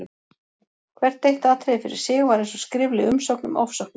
Hvert eitt atriði fyrir sig var eins og skrifleg umsókn um ofsóknir.